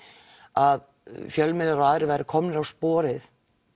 að fjölmiðlar og aðrir væru komnir á sporið